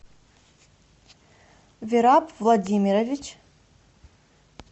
вираб владимирович